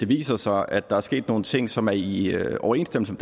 viser sig at der er sket nogle ting som er i overensstemmelse